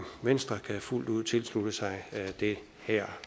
venstre kan fuldt ud tilslutte sig det her